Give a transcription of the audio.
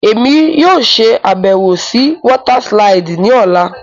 Emi yóò ṣabẹwo si wọta siliidi ni ọla.